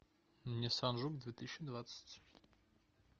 ниссан жук две тысячи двадцать